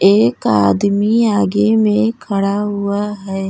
एक आदमी आगे में खड़ा हुआ है।